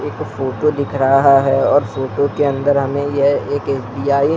एक फोटो दिख रहा हैऔर फोटो के अंदर हमें यह एक एस.बी.आई. --